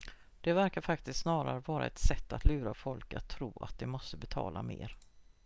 det verkar faktiskt snarare vara ett sätt att lura folk att tro att de måste betala mer